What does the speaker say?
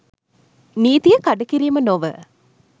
නීතිය කඩකිරීම නොව